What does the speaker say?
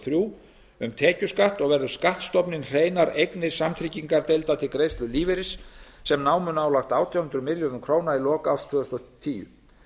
þrjú um tekjuskatt og verður skattstofninn hreinar eignir samtryggingadeilda til greiðslu lífeyris sem námu nálægt átján hundruð milljörðum króna í lok árs tvö þúsund og tíu